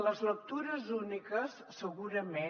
les lectures úniques segurament